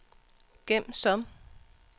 gem som